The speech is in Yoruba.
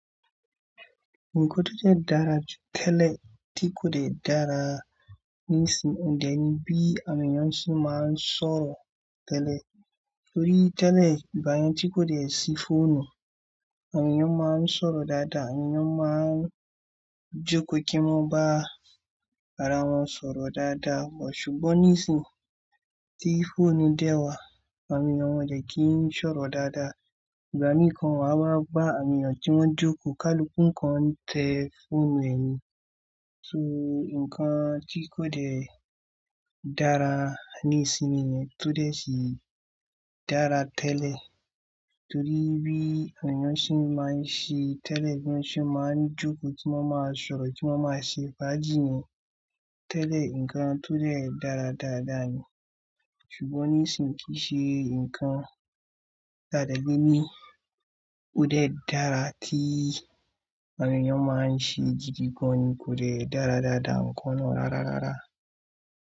Nǹkan tó dẹ́ dára tẹ́lẹ̀ tí kò de dára níìsín, òun dẹ́ni bí awon èniyan se máa ń sọ̀rọ̀ tẹ́lẹ̀, torí tẹ́lẹ̀ ìgbà yen tí kò de ṣí fóònù, àwọn èniyàn máa ń sọ̀rọ̀ dáadáa, àwọn ènìyàn máa ń jókòó kí wọ́n bá ara wọn sọ̀rọ̀ dáadáa, ṣùgbọ́n níìsín tí fóònù dé wá, àwọn ènìyàn wọ́n de kí i sọ̀rọ̀ dáadáa, ìgbà mìí gan waa wá bá awon èeyàn tí wọ́n jókòó, kaluku kan n tẹ́ fóònùẹ ni, so nǹkan tí kò de dára níìsínyi nìyẹn, to dè ṣì dára tẹ́lẹ̀ torí bí èeyàn se n máa ń ṣe tẹ́lẹ̀, bi won se máa ń jókòó tí wọ́n máa sọ̀rọ̀ tí wọ́n máa ṣe faájì nì tẹ́lẹ̀, nǹkan to dè dára dáadáa ni, ṣùgbọ́n níìsínyi kìí ṣe nǹkan tàa de gbe ni, ó dè dára tí ènìyàn máa ń ṣe gidi gan ni kò lè dára dáadáa nǹkan náà rárárárá.